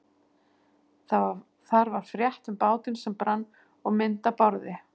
Þar var frétt um bátinn sem brann og mynd af Bárði.